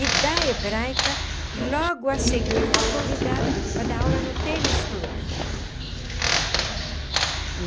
E da Hebraica, logo a seguir fui convidada para dar aula no tênis clube.